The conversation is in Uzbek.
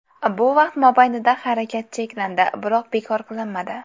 Bu vaqt mobaynida harakat cheklandi, biroq bekor qilinmadi.